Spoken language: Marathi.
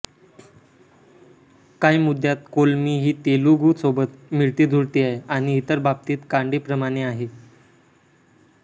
काही मुद्द्यात कोलमी हि तेलुगू सोबत मिळती जुळती आहे आणि इतर बाबतीत कानडी प्रमाणे आहे